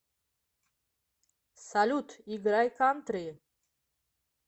салют играй кантри